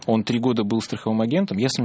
он три года был страховым агентом